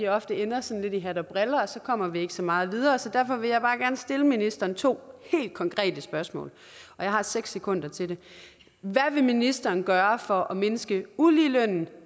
ofte ender sådan lidt i hat og briller og så kommer vi ikke så meget videre så derfor vil jeg bare gerne stille ministeren to helt konkrete spørgsmål og jeg har seks sekunder til det hvad vil ministeren gøre for at mindske uligelønnen